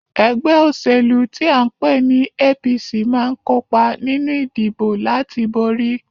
Ẹgbẹ́ òṣèlú tí à ń pè ní APC máa ń kópa nínú ìdìbò láti borí